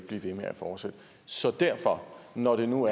blive ved med at fortsætte så derfor når nu